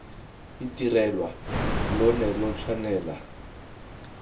itirelwa lo ne lo tshwanela